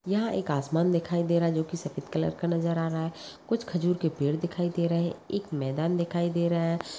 यहाँ एक आसमान दिखाई दे रहा है जो की सफेद कलर का नजर आ रहा है कुछ खजूर के पेड़ दिखाई दे रहे हैं एक मैदान दिखाई दे रहा है।